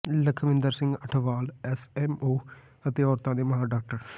Lakhwinder Singh Athwal SMO ਅਤੇ ਔਰਤਾਂ ਦੇ ਮਾਹਰ ਡਾ